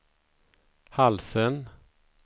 halsen